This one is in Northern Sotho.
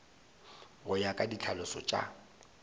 go ya ka ditlhalošo tša